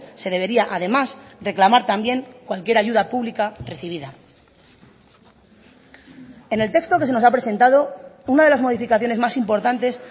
se debería además reclamar también cualquier ayuda pública recibida en el texto que se nos ha presentado una de las modificaciones más importantes